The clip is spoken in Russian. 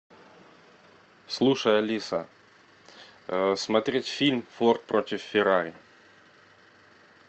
слушай алиса смотреть фильм форд против феррари